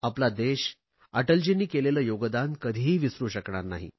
आपला देश अटलजींनी केलेले योगदान कधीही विसरु शकणार नाही